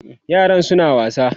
yaran suna wasa